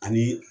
Ani